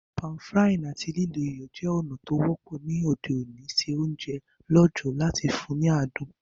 Pan-frying áti lílo iyọ̀ je ònà to wọ́pọ́ ni òde òní se ounje lọ̀jọ̀ ati láti fun ni adùn